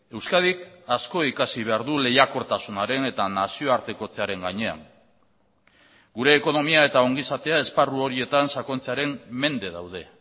euskadik asko ikasi behar du lehiakortasunaren eta nazioartekotzearen gainean gure ekonomia eta ongizatea esparru horietan sakontzearen mende daude